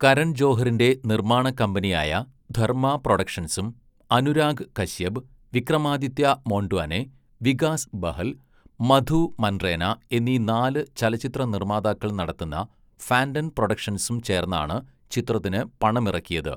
കരൺ ജോഹറിൻ്റെ നിർമ്മാണ കമ്പനിയായ ധർമ്മ പ്രൊഡക്ഷൻസും അനുരാഗ് കശ്യപ്, വിക്രമാദിത്യ മോണ്ട്വാനെ, വികാസ് ബഹൽ, മധു മൻറേന എന്നീ നാല് ചലച്ചിത്ര നിർമ്മാതാക്കൾ നടത്തുന്ന ഫാൻ്റം പ്രൊഡക്ഷൻസും ചേർന്നാണ് ചിത്രത്തിന് പണമിറക്കിയത്.